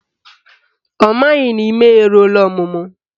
Ọ maghị na ime ya eruola ọmụmụ